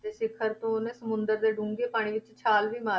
ਸਿਖ਼ਰ ਤੋਂ ਉਹਨੇ ਸਮੁੰਦਰ ਦੇ ਡੂੰਘੇ ਪਾਣੀ ਵਿੱਚ ਛਾਲ ਵੀ ਮਾਰ,